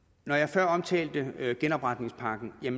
jeg omtalte før genopretningspakken og det